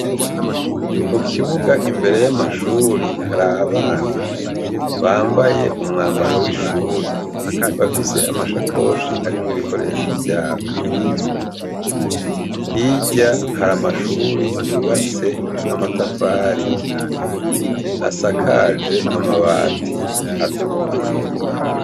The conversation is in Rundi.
Mu kibuga imbere y'amashuri hari abana bambaye umwambaro w'ishuri bafise amashakoshi arimwo ibikoresho vyabo, hirya hari amashuri yubatse n'amatafari asakaje amabati atukura.